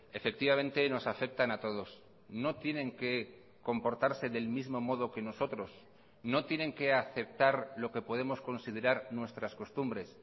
efectivamente nos afectan a todos no tienen que comportarse del mismo modo que nosotros no tienen que aceptar lo que podemos considerar nuestras costumbres